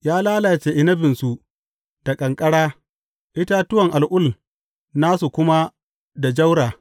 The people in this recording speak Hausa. Ya lalace inabinsu da ƙanƙara itatuwan al’ul nasu kuma da jaura.